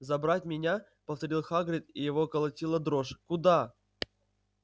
забрать меня повторил хагрид его колотила дрожь куда